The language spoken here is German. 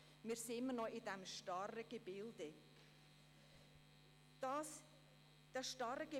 Wir stecken in diesem starren Gebilde fest.